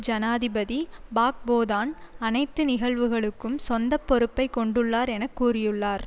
ஜனாதிபதி பாக்போதான் அனைத்து நிகழ்வுகளுக்கும் சொந்த பொறுப்பை கொண்டுள்ளார் என கூறியுள்ளார்